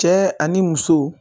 Cɛ ani muso